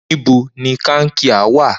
Nibo ni kankia wa?